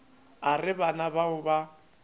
a re bana bao ba